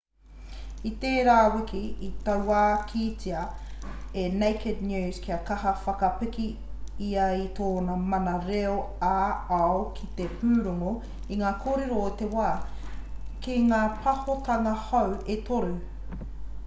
i tērā wiki i tauākītia e naked news ka kaha whakapiki ia i tōna mana reo ā-ao ki te pūrongo i ngā kōrero o te wā ki ngā pāhotanga hou e toru